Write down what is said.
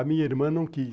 A minha irmã não quis.